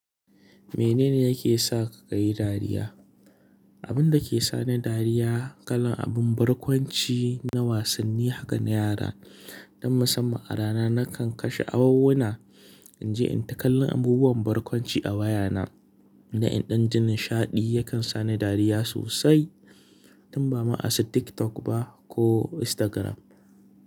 Mene ne yake sa ka yin dariya? Abin da ke sani dariya, kalan abin barkwanci na wasanni haka na yara. Dan musamman a rana nakan kashe awowuna, in je in taƙallan abubuwan barkwanci a wayana na in ɗan ji nishaɗi yakan sani dariya sosai tun ba ma asu TikTok ba ko Instagram.